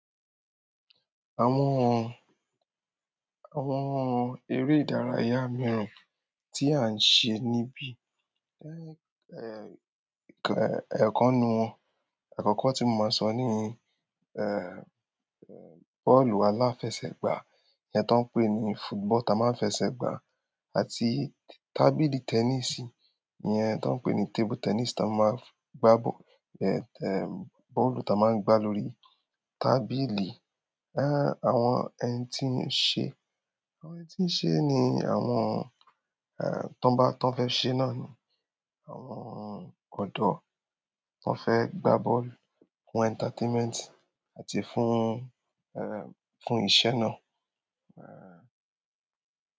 Àwọn ere ìdárayá mìíràn ti a n se nibi kàn, ikan nu won, àkọ́kọ́ tí mo máa sọ ní bọ́ọ̀lù aláfẹsẹ̀gbá, iye tí wọ́n ń pè ní football ta máa ń fẹsẹ̀ gbá àti tábìlì tẹníìsì, iye tí wọ́n ń pè ní table tennis ta máa ń gbá bọ́ọ̀, bọ́ọ̀lù ta máa ń gbá lórí tábìlì. Àwọn ẹni tí ń ṣe, àwọn ẹni tí ń ṣe ni àwọn, ẹ́ẹ̀, tí wọ́n bá, tí wọ́n fẹ́ ṣe náà ni àwọn ọ̀dọ́ tó fẹ́ gbá bọ́ọ̀lù fún entertainment àti fún, fún ìṣẹ́ náà. Ẹ̀ẹ̀